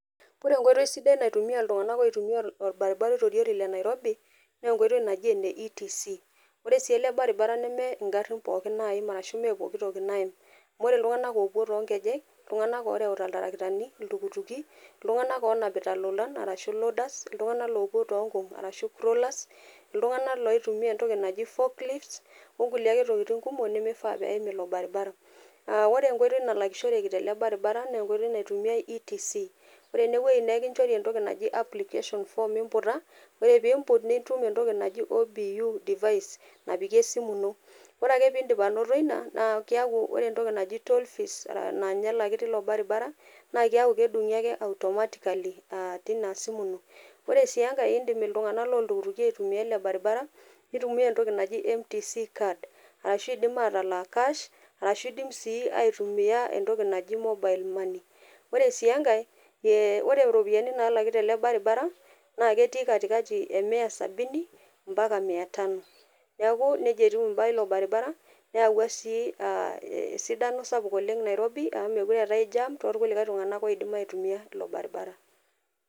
Ore enkoitoi sidai naitumia iltunganak oitumia orbaribara oitoriori lenairobi naa enkoitoi naji eneETC, ore siele baribara neme ngarin pookin naim ashu mmee pokitoki naim , amu ore iltunganak opuo toonkejek , iltunganak oreuta iltarakitani, iltukituki , iltunganak onapita ilolan arashu loaders , iltunganak lopuo tonkung arashu crawlers, iltunganak loitumia entoki naji fork lifts, onkulie ake tokitin kumok nemifaa peim ilo baribara . Aa ore enkoitoi nalakishoreki tele baribara naa enkoitoi naitumiay ETC, ore enewuei nee enkichori entoki naji application form , ore piimput , nitum entoki naji OPIU device napiki esimu ino, ore ake pindip anoto ina naa keaku ore entoki naji toll fees naa nye elaki tilo baribara naa keaku kedungi ake automatically a a tina simu ino. Ore si enkae indim iltunganak loltukituki aitumia ele baribara , nitumia entoki naji mtc card, arashu indim atalak cash ashu indim sii aitumia entoki naji mobile money. Ore si enkae , e ore iropiyiani nalaki tele baribara naa ketii katikati emia sabini mpaka mia tano. Niaku nejia etiu imbaa ilo baribara , neyau si aa esidano sapuk oleng nairobi amu mekure eetae jam tookulie tunganak oidim aitumia ilo baribara.